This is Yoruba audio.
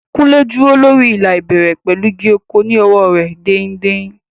Kunle dúró lórí ìlà ìbẹ̀rẹ̀ pẹ̀lú igi ọ̀kọ̀ ní ọwọ́ rẹ̀ dain-dain.